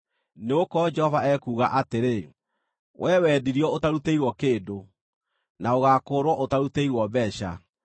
Nĩgũkorwo Jehova ekuuga atĩrĩ: “Wee wendirio ũtarutĩirwo kĩndũ, na ũgaakũũrwo ũtarutĩirwo mbeeca.”